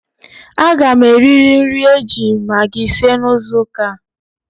A ga m eririri nri e ji magi sie n'izuuka a.